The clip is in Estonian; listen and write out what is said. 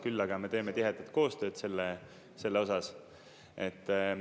Küll aga me teeme tihedat koostööd selle osas.